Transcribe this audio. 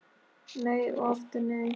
Nei og aftur nei